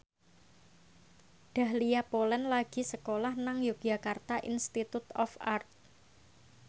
Dahlia Poland lagi sekolah nang Yogyakarta Institute of Art